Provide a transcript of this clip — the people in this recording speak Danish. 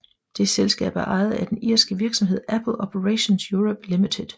Det selskab er ejet af den irske virksomhed Apple Operations Europe Limited